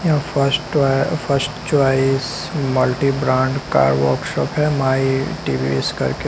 यह फर्स्ट ट्वाइ first choice multi brand का वर्कशॉप है माई टी_वी_एस करके।